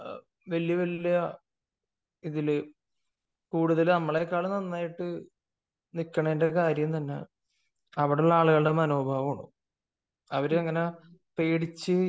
വല്യ വല്യ ഇതില് കൂടുതൽ നമ്മളെക്കാൾ നന്നായിട്ട് നിക്കുന്നതിന്റെ കാര്യം തന്നെ അവിടുള്ള ആളുകളുടെ മനോഭാവമാണ് . അവര് അങ്ങനെ പേടിച്ചു